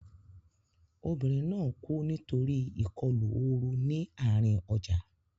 Obìnrin náà kú nítorí ìkọlù ooru ní àárín ọjà.